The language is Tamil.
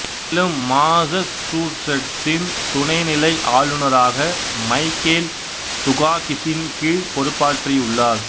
மேலும் மாசச்சூசெட்சின் துணைநிலை ஆளுநராக மைக்கேல் துகாகிசின் கீழ் பொறுப்பாற்றி உள்ளார்